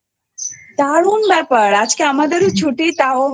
দারুন বেপার আজকে আমাদেরও ছুটি